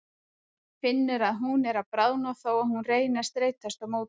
Hún finnur að hún er að bráðna þó að hún reyni að streitast á móti.